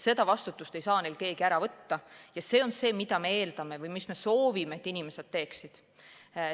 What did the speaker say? Seda vastutust ei saa neilt keegi ära võtta ja see on see, mida me eeldame või mida me soovime, et inimesed teeksid.